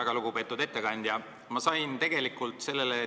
Väga lugupeetud ettekandja!